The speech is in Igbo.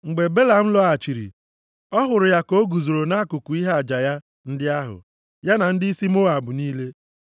Mgbe Belam lọghachiri ọ hụrụ ya ka o guzoro nʼakụkụ ihe aja ya ndị ahụ, ya na ndịisi Moab niile.